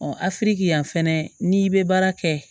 afiriki yan fɛnɛ n'i bɛ baara kɛ